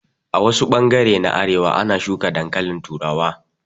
A wasu bangare na arewa a na shuka dankalin turawa